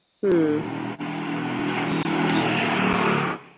ഉം